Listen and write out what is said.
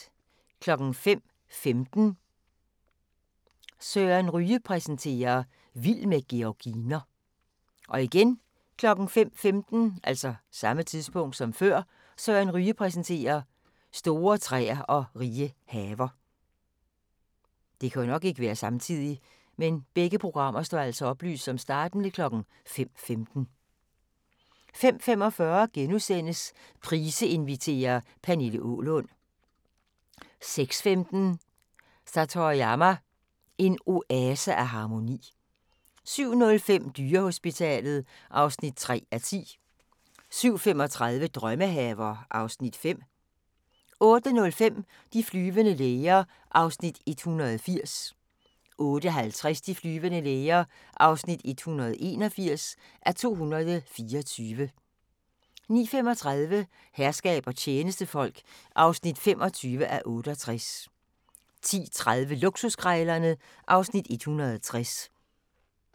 05:15: Søren Ryge præsenterer: Vild med georginer 05:15: Søren Ryge præsenterer: Store træer og rige haver 05:45: Price inviterer – Pernille Aalund * 06:15: Satoyama – en oase af harmoni 07:05: Dyrehospitalet (3:10) 07:35: Drømmehaver (Afs. 5) 08:05: De flyvende læger (180:224) 08:50: De flyvende læger (181:224) 09:35: Herskab og tjenestefolk (25:68) 10:30: Luksuskrejlerne (Afs. 160)